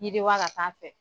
Yidiwa ka taa fɛ